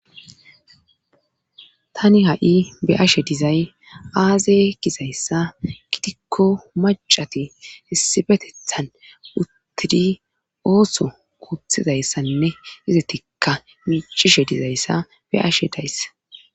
tani ha7i be ashe dizay aaze gizayssa gidikko macati issibetethan uttidi ooso kuuthizayssanne izatikka miicishe dizayssa be ashe dayssa